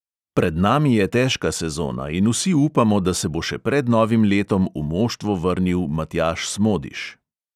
Pred nami je težka sezona in vsi upamo, da se bo še pred novim letom v moštvo vrnil matjaž smodiš.